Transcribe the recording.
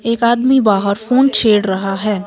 एक आदमी बाहर फोन छेड़ रहा है।